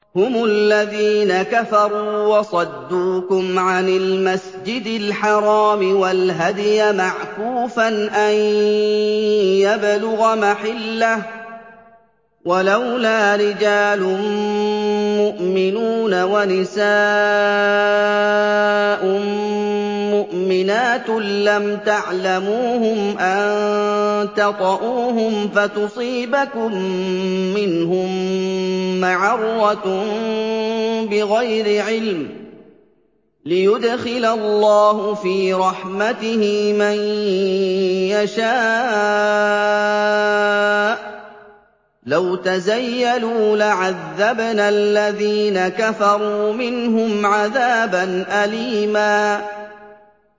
هُمُ الَّذِينَ كَفَرُوا وَصَدُّوكُمْ عَنِ الْمَسْجِدِ الْحَرَامِ وَالْهَدْيَ مَعْكُوفًا أَن يَبْلُغَ مَحِلَّهُ ۚ وَلَوْلَا رِجَالٌ مُّؤْمِنُونَ وَنِسَاءٌ مُّؤْمِنَاتٌ لَّمْ تَعْلَمُوهُمْ أَن تَطَئُوهُمْ فَتُصِيبَكُم مِّنْهُم مَّعَرَّةٌ بِغَيْرِ عِلْمٍ ۖ لِّيُدْخِلَ اللَّهُ فِي رَحْمَتِهِ مَن يَشَاءُ ۚ لَوْ تَزَيَّلُوا لَعَذَّبْنَا الَّذِينَ كَفَرُوا مِنْهُمْ عَذَابًا أَلِيمًا